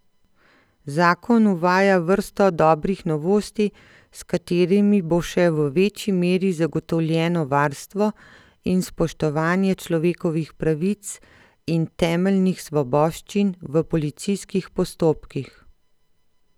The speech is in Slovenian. Zakon uvaja vrsto dobrih novosti, s katerimi bo še v večji meri zagotovljeno varstvo in spoštovanje človekovih pravic in temeljnih svoboščin v policijskih postopkih.